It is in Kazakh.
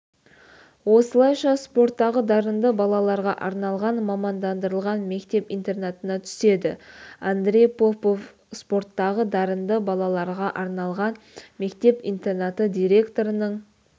осылайша спорттағы дарынды балаларға арналған мамандандырылған мектеп-интернатына түседі андрей попов спорттағы дарынды балаларға арналған мектеп-интернаты директорының